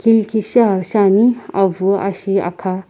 ilkishi aa shiani avü ashi akha.